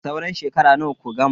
Sauran shekara nawa ku gama?